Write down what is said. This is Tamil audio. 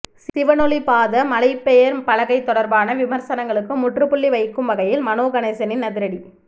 சிவனொளிபாத மலை பெயர் பலகை தொடர்பான விமர்சனங்களுக்கு முற்றுப்புள்ளி வைக்கும் வகையில் மனோ கணேசனின் அதிரடி